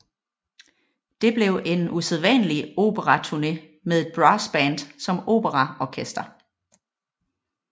Det blev en usædvanlig operaturne med et brassband som operaorkester